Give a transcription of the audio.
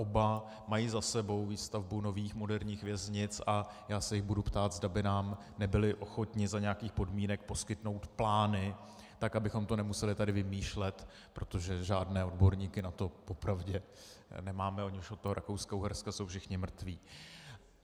Oba mají za sebou výstavbu nových moderních věznic a já se jich budu ptát, zda by nám nebyli ochotni za nějakých podmínek poskytnout plány, tak abychom to nemuseli tady vymýšlet, protože žádné odborníky na to po pravdě nemáme, oni už od toho Rakouska-Uherska jsou všichni mrtví.